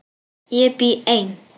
Ég bý ein.